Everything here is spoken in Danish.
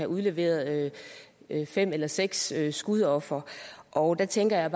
udleveret fem eller seks skudofre og der tænker jeg